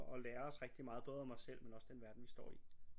og lære os rigtig meget både om os selv men også den verden vi står i